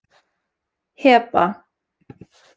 Heba